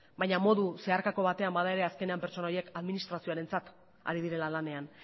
baina modu zeharkako batean bada ere azkenean pertsona horiek administrazioarentzat ari direla lanean